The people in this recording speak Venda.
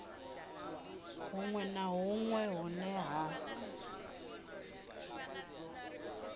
hunwe na hunwe hune ha